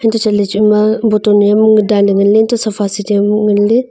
antoh chatle chima bottle a mi dan ngan ley antoh sofa seat a bow ngan ley.